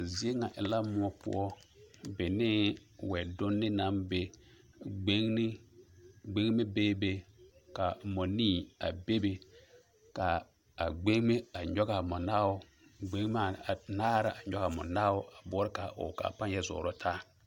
A zie ŋa e la moɔ poɔ benee wɛdonne naŋ be gbeŋne gbeŋme beebe ka mɔnii a bebe kaa a gbeŋme a ngogaa monaao gbeŋmaa anaare la a nyoge a mɔ naao a boɔrɔ kaa ɔɔ kaa paŋ yɛ zɔɔrɔ taa.